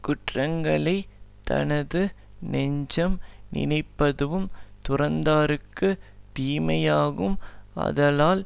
குற்றங்களை தனது நெஞ்சம் நினைப்பதுவும் துறந்தார்க்குத் தீமையாகும் ஆதலால்